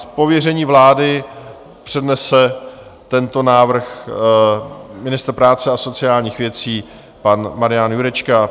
Z pověření vlády přednese tento návrh ministr práce a sociálních věcí pan Marian Jurečka.